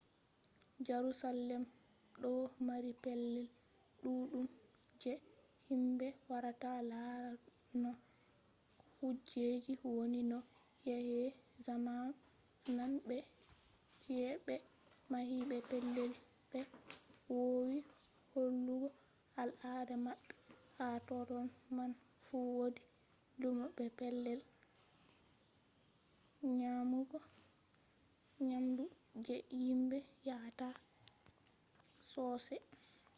jarusalem ɗo mari pellel ɗuɗɗum je himɓe warata laara no kujeji woni no yake zamanu nane be chi’e ɓe mahi be pellel ɓe woowi hollugo al ada maɓɓe ha totton man fu wodi lumo be pellel nyamugo nyamdu je himɓe yahata sossai